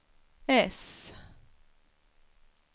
S